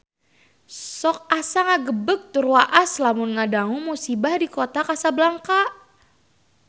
Sok asa ngagebeg tur waas lamun ngadangu musibah di Kota Kasablanka